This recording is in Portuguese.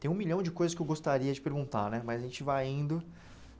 Tem um milhão de coisas que eu gostaria de perguntar né, mas a gente vai indo.